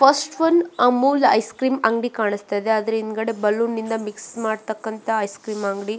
first one Amul ice cream ಅಂಗಡಿ ಕಾಣಿಸ್ತಾ ಇದೆ ಅದ್ರ ಹಿಂದ್ಗಡೆ ಬಲೂನ್ ಮಿಕ್ಸ್ ಮಾಡ್ತಕ್ಕಂತಹ ಐಸ್ ಕ್ರೀಮ್ ಅಂಗಡಿ --